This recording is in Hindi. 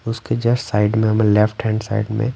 उसके जस्ट साइड में हमें लेफ्ट हैंड साइड में--